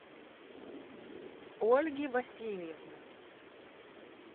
ольги васильевны